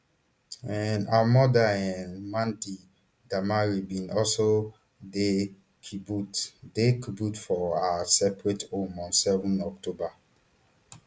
um her mother um mandy damari bin also dey kibbutz dey kibbutz for her separate home on seven october